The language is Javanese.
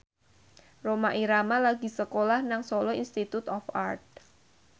Rhoma Irama lagi sekolah nang Solo Institute of Art